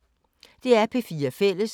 DR P4 Fælles